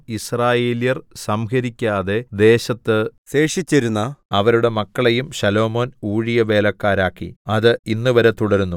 യിസ്രായേല്യർ സംഹരിക്കാതെ ദേശത്ത് ശേഷിച്ചിരുന്ന അവരുടെ മക്കളെയും ശലോമോൻ ഊഴിയവേലക്കാരാക്കി അത് ഇന്നുവരെ തുടരുന്നു